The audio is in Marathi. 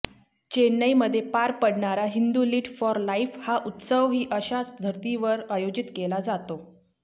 चेन्नईमध्ये पार पडणारा हिंदू लिट फॉर लाइफ हा उत्सवही अशाच धर्तीवर आयोजित केला जातो